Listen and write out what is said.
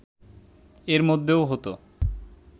এরমধ্যেও হতো